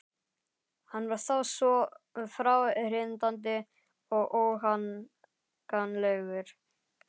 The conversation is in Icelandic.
Hann var þá svo fráhrindandi og óhagganlegur.